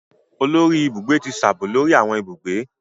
Olórí Ibùgbé ti sábó lórí awọn ibùgbé.